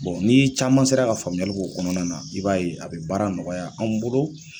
n'i ye caman sera ka faamuyali k'o kɔnɔna na i b'a ye a bɛ baara nɔgɔya an bolo